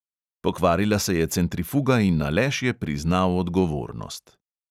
Pokvarila se je centrifuga in aleš je priznal odgovornost.